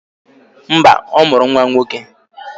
Mba, ọ mụrụ nwa nwoke